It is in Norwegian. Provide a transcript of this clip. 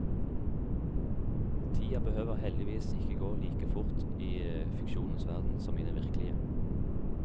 Tida behøver heldigvis ikke å gå like fort i fiksjonens verden som i den virkelige.